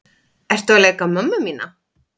Ertu að leika mömmu mína?